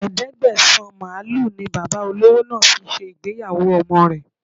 Ẹ̀ẹ́dẹ́gbẹ̀sán màlúù ni Bàbá olówó náà fi ṣe ìgbéyàwó ọmọ rẹ